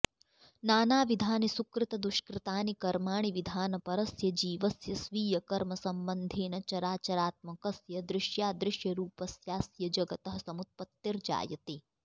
नानाविधानि सुकृतदुष्कृतानि कर्माणि विधानपरस्य जीवस्य स्वीयकर्म सम्बन्धेन चराचरात्मकस्य दृश्याऽदृश्यरूपस्याऽस्य जगतः समुत्पत्तिर्जायते